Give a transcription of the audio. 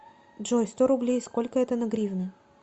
джой сто рублей сколько это на гривны